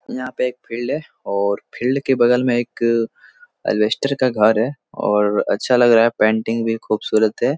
यहाँ पे एक फील्ड है और फील्ड के बगल में एक अलबेस्टर का घर है और अच्छा लग रहा है पेंटिंग भी खूबसूरत है।